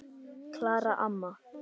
Klara amma.